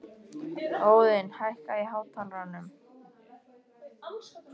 Óðinn, hækkaðu í hátalaranum.